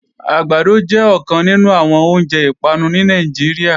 Àgbàdo jẹ́ ọ̀kan nínú àwọn oúnjẹ ìpanu ní Nàìjíríà